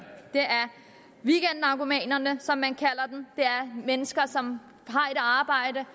weekendnarkomanerne som man kalder dem det er mennesker som har et arbejde